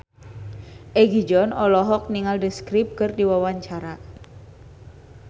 Egi John olohok ningali The Script keur diwawancara